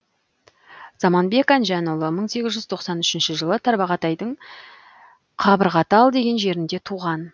заманбек әнжанұлы мың сегіз жүз тоқсан үшінші жылы тарбағатайдың қабырғатал деген жерінде туған